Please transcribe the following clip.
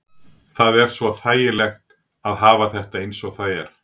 Það er svo þægilegt að hafa þetta eins og það er.